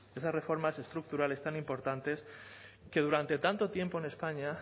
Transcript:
esas reformas estructurales tan importantes que durante tanto tiempo en españa